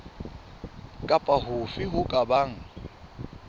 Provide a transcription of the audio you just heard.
kapa hofe ho ka bang